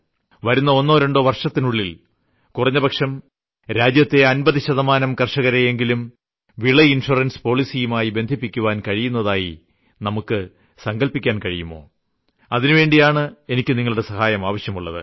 വരുന്ന ഒന്നോ രണ്ടോ വർഷത്തിനുള്ളിൽ കുറഞ്ഞപക്ഷം രാജ്യത്തെ 50 ശതമാനം കർഷകരെയെങ്കിലും വിള ഇൻഷുറൻസ് പോളിസിയുമായി ബന്ധിപ്പിയ്ക്കാൻ കഴിയുന്നതായി നമുക്ക് സങ്കല്പിക്കാൻ കഴിയുമോ അതിനുവേണ്ടിയാണ് എനിക്ക് നിങ്ങളുടെ സഹായം ആവശ്യമുള്ളത്